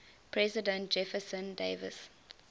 president jefferson davis